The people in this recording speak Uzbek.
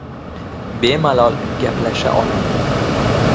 Bemalol gaplasha oladi.